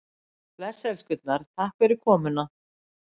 Bless elskurnar, takk fyrir komuna.